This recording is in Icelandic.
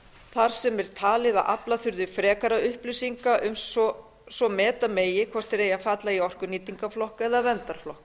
þar sem er talið að afla þurfi frekari upplýsinga svo meta megi hvort þeir eigi að falla í orkunýtingarflokk eða verndarflokk